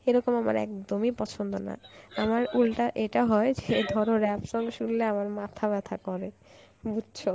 এরকম আমার একদমই পছন্দ না আমার উল্টা এটা হয় সে ধরো rap song শুনলে আমার মাথা ব্যথা করে , বুঝছো